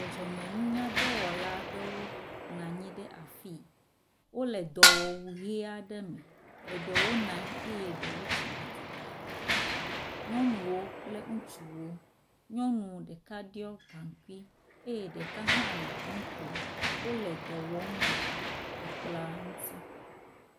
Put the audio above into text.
Dzɔdzɔme nunyadɔwɔla nɔ anyi ɖe afii wole dɔwɔwu ʋe aɖe me, eɖewo nɔ anyi eye eɖewo tsi atsitre. Nyɔwo kple ŋutsuwo nyɔnu ɖeka ɖɔ gaŋkui eye ɖeka hã le nu kom wole edɔ wɔm le ekplɔa ŋuti